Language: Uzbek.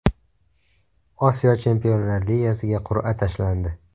Osiyo Chempionlar ligasiga qur’a tashlandi.